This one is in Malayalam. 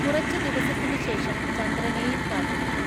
കുറച്ചു ദിവസത്തിനുശഷം ചന്ദ്രനെയും കാത്തിരിക്കും.